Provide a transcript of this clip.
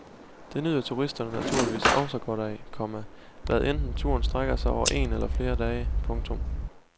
Det nyder turisterne naturligvis også godt af, komma hvad enten turen strækker sig over en eller flere dage. punktum